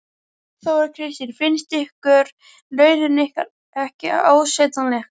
Þóra Kristín: Finnst ykkur launin ykkar ekki ásættanleg?